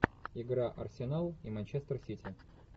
игра арсенал и манчестер сити